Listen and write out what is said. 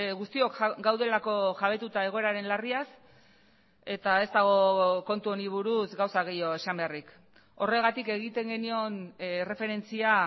guztiok gaudelako jabetuta egoeraren larriaz eta ez dago kontu honi buruz gauza gehiago esan beharrik horregatik egiten genion erreferentzia